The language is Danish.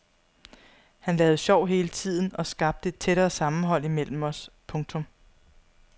Han lavede sjov hele tiden og skabte et tættere sammenhold imellem os. punktum